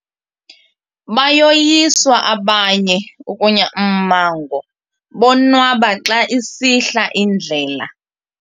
Bayoyiswa abanye ukunya ummango bonwaba xa isihla indlela.